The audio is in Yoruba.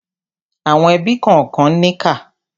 Àwọn ẹbí kànkan níkà.